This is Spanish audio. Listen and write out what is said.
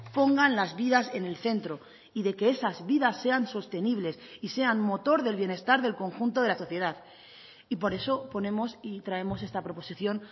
pongan las vidas en el centro y de que esas vidas sean sostenibles y sean motor del bienestar del conjunto de la sociedad y por eso ponemos y traemos esta proposición